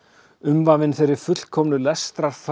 umvafin þeirri fullkomnu